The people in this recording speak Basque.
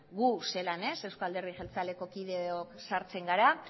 gu zelan eusko alderdi jeltzaleko kideok sartzen gara